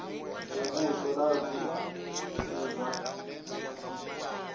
muvhuso na zwi si zwa